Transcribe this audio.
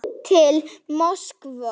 Til Moskvu